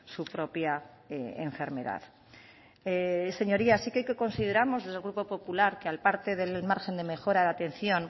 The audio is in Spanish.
su propia enfermedad señorías sí que consideramos desde el grupo popular que al parte del margen de mejora de atención